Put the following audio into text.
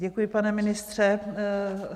Děkuji, pane ministře.